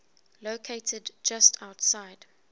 located just outside